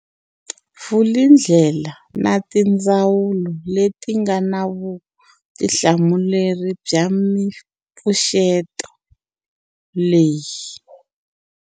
Vulindlela na tindzawulo leti nga na vutihlamuleri bya mipfuxeto leyi.